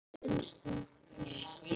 En stoppið er stutt.